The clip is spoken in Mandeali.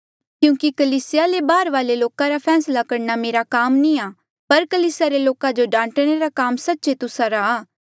क्यूंकि कलीसिया ले बाहरवाले लोका रा फैसला करणा मेरा काम नी आ पर कलीसिया रे लोका जो डांटणे रा काम सच्चे तुस्सा रा